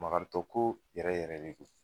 Makaritɔ ko yɛrɛ yɛrɛ de don.